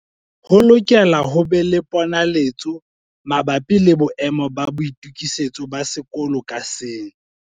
Ho lokela ho be le ponaletso mabapi le boemo ba boitokisetso ba sekolo ka seng.